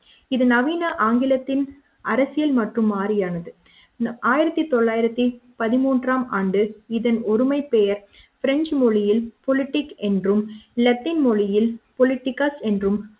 இதை நவீன ஆங்கிலத்தின் அரசியல் மற்றும் மாரியானது ஆயிரத்து தொளாயிரத்து பதி மூன்றாம் ஆம் ஆண்டு இதன் ஒருமை பெயர் பிரெஞ்சு மொழியில் பொலிடிக் என்றும் லத்தின் மொழியில் பொலிடிகாஸ் என்றும்